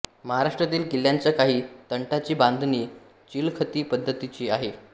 महाराष्ट्रातील किल्ल्यांच्या काही तटांची बांधणी चिलखती पद्धतीची आहे